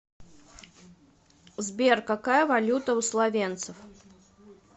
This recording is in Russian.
сбер какая валюта у словенцев